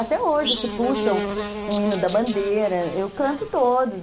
Até hoje se puxa um hino da bandeira, eu canto todos.